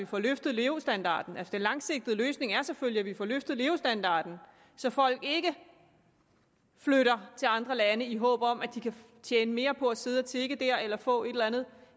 får løftet levestandarden altså den langsigtede løsning er selvfølgelig at vi får løftet levestandarden så folk ikke flytter til andre lande i håb om at de kan tjene mere på at sidde og tigge der eller få et eller andet